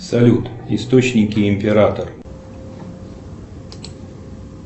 салют источники император